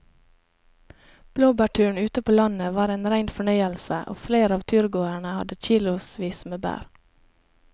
Blåbærturen ute på landet var en rein fornøyelse og flere av turgåerene hadde kilosvis med bær.